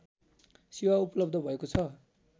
सेवा उपलव्ध भएको छ